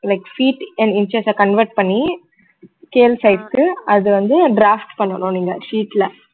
like feet and inches அ convert பண்ணி scale side க்கு அது வந்து draft பண்ணனும் நீங்க sheet ல